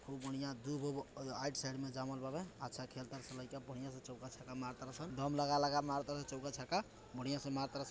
खूब बढ़िया दुभ एगो राईट साइड मे जमाल बाड़े | अच्छा खेल तरन लइका बढ़िया से चौका छक्का मारा तारे से दम लगा लगा के मारा तारे सन चौका छक्का बढ़िया से मारा तारे सन |